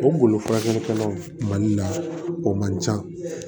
O bolo furakɛlikɛlaw mali la o man can